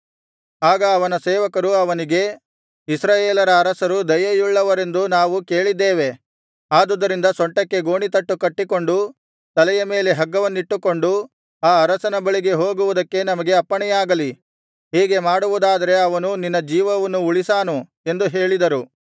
ಆಗ ಅವನ ಸೇವಕರು ಅವನಿಗೆ ಇಸ್ರಾಯೇಲರ ಅರಸರು ದಯೆಯುಳ್ಳವರೆಂದು ನಾವು ಕೇಳಿದ್ದೇವೆ ಆದುದರಿಂದ ಸೊಂಟಕ್ಕೆ ಗೋಣಿತಟ್ಟು ಕಟ್ಟಿಕೊಂಡು ತಲೆಯ ಮೇಲೆ ಹಗ್ಗವನ್ನಿಟ್ಟುಕೊಂಡು ಆ ಅರಸನ ಬಳಿ ಹೋಗುವುದಕ್ಕೆ ನಮಗೆ ಅಪ್ಪಣೆಯಾಗಲಿ ಹೀಗೆ ಮಾಡುವುದಾದರೆ ಅವನು ನಿನ್ನ ಜೀವವನ್ನು ಉಳಿಸಾನು ಎಂದು ಹೇಳಿದರು